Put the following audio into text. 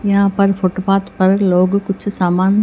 यहां पर फुटपाथ पर लोग कुछ सामान--